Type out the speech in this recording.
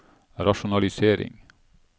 rasjonalisering